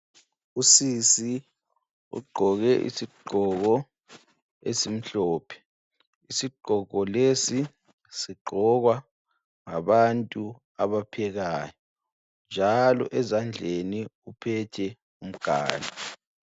Usisi ugqoke isigqoko esimhlophe. Isigqoko lesi sigqokwa ngabantu abaphekayo njalo esandleni uphethe umganu.